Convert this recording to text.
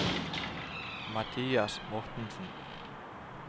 Mathias Mortensen